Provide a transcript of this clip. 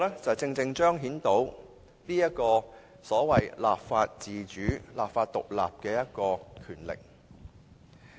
這正正可以彰顯所謂立法自主、立法獨立的權力。